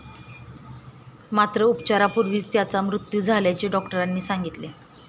मात्र उपचारापूर्वीच त्याचा मृत्यू झाल्याचे डॉक्टरांनी सांगितले.